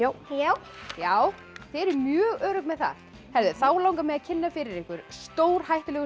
já já þið eruð mjög örugg með það þá langar mig að kynna fyrir ykkur stórhættulegu